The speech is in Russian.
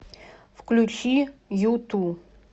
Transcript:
включи юту